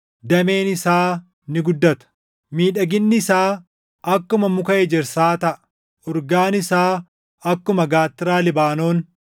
dameen isaa ni guddata. Miidhaginni isaa akkuma muka ejersaa taʼa; urgaan isaa akkuma gaattiraa Libaanoon.